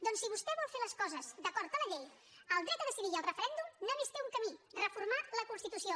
doncs si vostè vol fer les coses d’acord amb la llei el dret a decidir i el referèndum només tenen un camí reformar la constitució